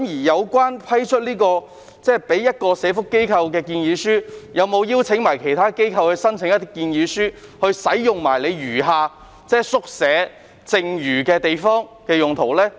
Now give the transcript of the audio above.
在收到一個社福機構的建議書後，有否邀請其他機構提交建議書以使用宿舍的剩餘地方？